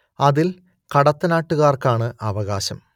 അതിൻ കടത്തനാട്ടുകാർക്കാണ് അവകാശം